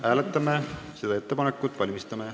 Hääletame seda ettepanekut.